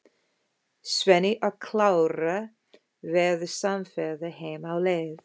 Svenni og Klara verða samferða heim á leið.